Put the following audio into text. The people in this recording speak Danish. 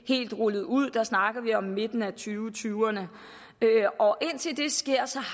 helt rullet ud der snakker vi om midten af tyverne tyverne og indtil det sker så